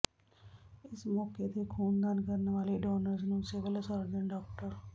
ਇਸ ਮੌਕੇ ਤੇ ਖੂਨਦਾਨ ਕਰਨ ਵਾਲੇ ਡੋਨਰਜ਼ ਨੂੰ ਸਿਵਲ ਸਰਜਨ ਡਾ